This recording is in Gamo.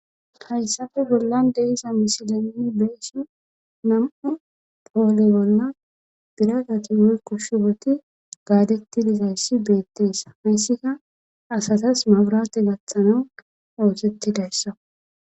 Hayssafe bollan deisa misilai beesi nam7u poole bolla biratati woykko shiboti gaadetti dizayssi beettees hayssika asatas maburate gaththana oosettidayssa.